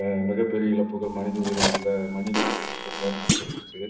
அஹ் மிகப்பெரிய இழப்புகள் மனித உயிர்களை மனித உயிரிழப்புகளை நடக்க வச்சுச்சு